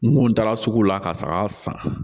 N kun taara sugu la ka saga san